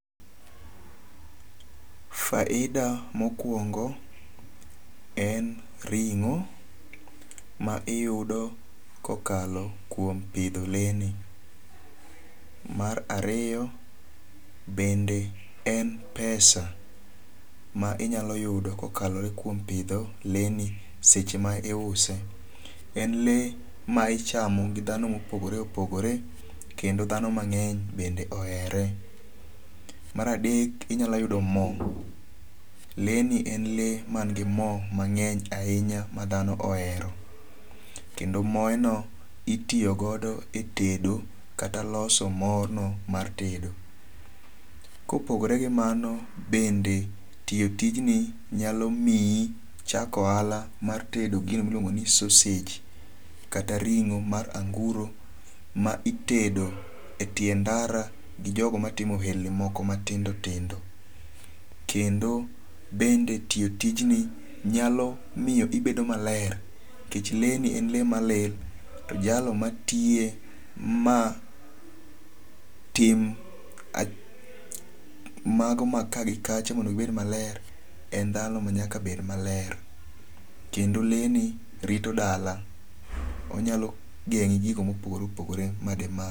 Faida mokuongo en ringo' ma iyudo ka okalo kuom pidho lee ni, mar ariyo bende en pesa ma inyalo yudo ka oklore kuom pidho le ni seche ma iuse, en lee ma ichamo gi dhano ma opogore opogore, kendo dhano mange'ny bende ohere. Maradek inyalo yudo mo, lee ni en lee mangi mo mange'ny ahinya ma dhano ohero, kendo maeno itiyogodo e tedo kata loso mono mar tedo. Kopogore gi mano bende tiyo tijni nyalo miyi chako ohala mar tedo gino ma iluongo ni sausage kata ringo' mar anguro ma itedo e tie ndara gi jogo ma timo ohelni moko ma tindo tindo ,kendo bende tiyo tijni nyalo miyo ibedo maler nikech leni en lee malil to jalo matiye ma tim mago ma kaa gi kacha mondo gi bed maler, en dhano manyaka bed maler, kendo lee ni rito dala onyalo gengo' ni gigo ma opogore opogore mademaki.